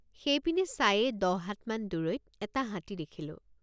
সেইপিনে চায়েই দহ হাতমান দূৰৈত এটা হাতী দেখিলোঁ।